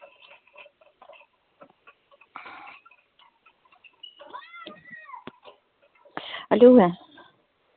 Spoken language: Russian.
алло